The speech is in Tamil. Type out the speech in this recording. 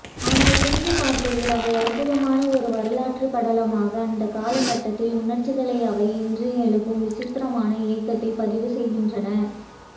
ஆனால் திரும்பிப்பார்க்கையில் அவை அற்புதமான ஒரு வரலாற்றுப்படலமாக அந்தக் காலகட்டத்தின் உணர்ச்சிகளை அவை இன்று எழுப்பும் விசித்திரமான ஏக்கத்தைப் பதிவுசெய்கின்றன